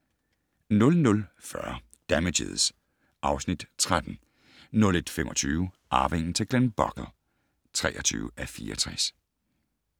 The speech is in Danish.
00:40: Damages (Afs. 13) 01:25: Arvingen til Glenbogle (23:64)